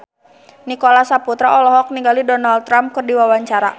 Nicholas Saputra olohok ningali Donald Trump keur diwawancara